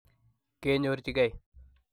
kenyorjigei.